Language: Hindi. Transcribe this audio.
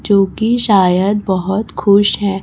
जो कि शायद बहुत खुश है।